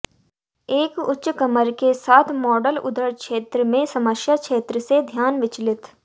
एक उच्च कमर के साथ मॉडल उदर क्षेत्र में समस्या क्षेत्र से ध्यान विचलित